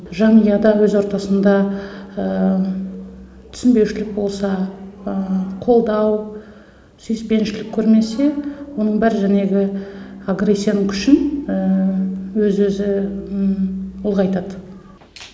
жанұяда өз ортасында түсінбеушілік болса қолдау сүйіспеншілік көрмесе оның бәрі жәнегі агрессияның күшін өз өзі ұлғайтады